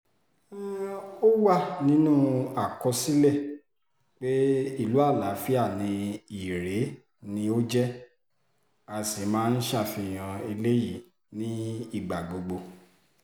ó wà nínú àkọsílẹ̀ pé ìlú àlàáfíà ni irèé jẹ́ a sì máa ń ṣàfihàn eléyìí nígbà gbogbo